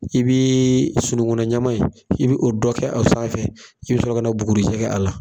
I bii sunukuna ɲama in i be o dɔ kɛ a sanfɛ i be sɔrɔ ka na bugurijɛ kɛ a la